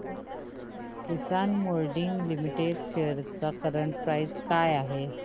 किसान moulding limited shares ची current price काय आहे